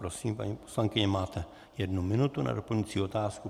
Prosím, paní poslankyně, máte jednu minutu na doplňující otázku.